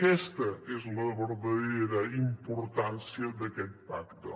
aquesta és la verdadera importància d’aquest pacte